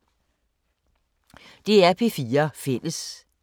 DR P4 Fælles